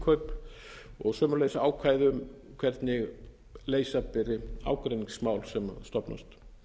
innkaup og sömuleiðis ákvæði um hvernig leysa beri ágreiningsmál sem stofnast